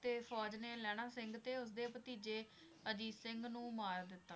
ਤੇ ਫ਼ੌਜ ਨੇ ਲਹਿਣਾ ਸਿੰਘ ਤੇ ਉਸ ਦੇ ਭਤੀਜੇ ਅਜੀਤ ਸਿੰਘ ਨੂੰ ਮਾਰ ਦਿਤਾ।